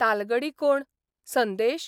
तालगडी कोण, संदेश?